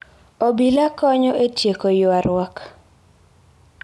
Obila konyo e tieko ywaruok.